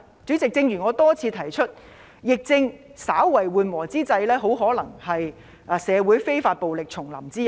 主席，正如我多次提出，疫情稍為緩和之際，很可能是社會非法暴力重臨之日。